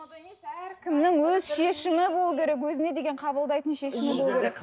әркімнің өз шешімі болу керек өзіне деген қабылдайтын шешімі